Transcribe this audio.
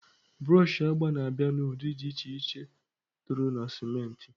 Broọshị agba na-abịa n'ụdị dị iche iche tụrụ na sentimita.